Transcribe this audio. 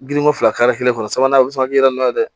Girinko fila kare kelen kɔnɔ sabanan o bɛ se ka yɛlɛma dɛ